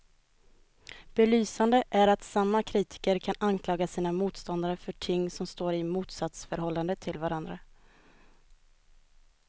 Belysande är att samma kritiker kan anklaga sina motståndare för ting som står i ett motsatsförhållande till varandra.